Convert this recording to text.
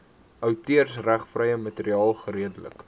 outeursregvrye materiaal geredelik